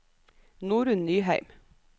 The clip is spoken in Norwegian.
Norunn Nyheim